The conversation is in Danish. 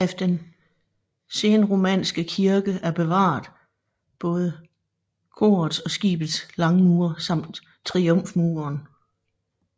Af den senromanske kirke er bevaret både korets og skibets langmure samt triumfmuren